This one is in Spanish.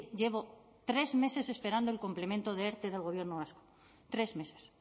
llevo tres meses esperando el complemento de erte del gobierno vasco tres meses